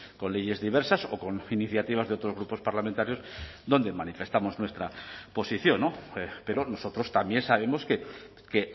con leyes diversas o con iniciativas de otros grupos parlamentarios donde manifestamos nuestra posición pero nosotros también sabemos que